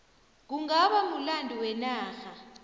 kungaba mulando wenarha